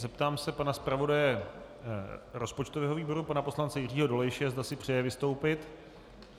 Zeptám se pana zpravodaje rozpočtového výboru pana poslance Jiřího Dolejše, zda si přeje vystoupit.